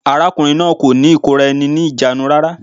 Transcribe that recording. Arákùnrin náà kò ní ìkóra-eni-ní-ìjánu rárá.